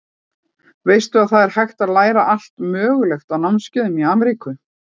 Veistu að það er hægt að læra allt mögulegt á námskeiðum í Ameríku.